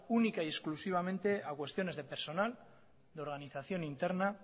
única y exclusivamente a cuestiones de personal de organización interna